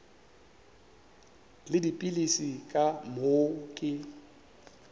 le dipilisi ka moo ke